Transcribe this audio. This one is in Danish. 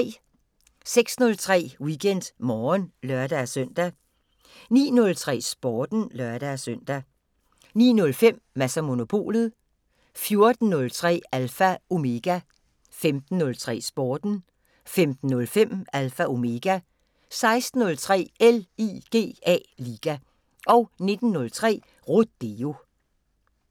06:03: WeekendMorgen (lør-søn) 09:03: Sporten (lør-søn) 09:05: Mads & Monopolet 14:03: Alpha Omega 15:03: Sporten 15:05: Alpha Omega 16:03: LIGA 19:03: Rodeo